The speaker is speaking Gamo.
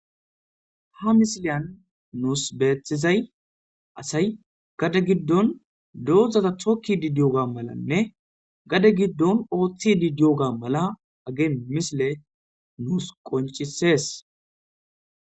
Ha misiliyan nus betizay asay gade gidon dozata tokidi diyoga malan gade gidon othidi diyoga mala misiley nus qoncises